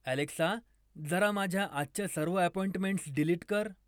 Alexa जरा माझ्या आजच्या सर्व अँपॉईंटमेंट्स डिलीट कर